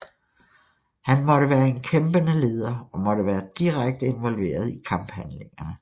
Han måtte være en kæmpende leder og måtte være direkte involveret i kamphandlingerne